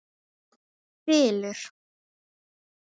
Hann þylur